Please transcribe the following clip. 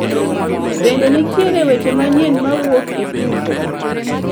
Bende nitiere weche manyien mawuok e tuko